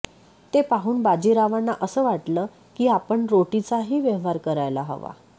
ते पाहून बाजीरावांना असं वाटलं की आपण रोटीचाही व्यवहार करायला हवा